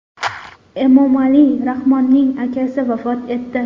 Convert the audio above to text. Emomali Rahmonning akasi vafot etdi.